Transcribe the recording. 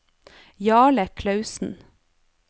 Jarle Klausen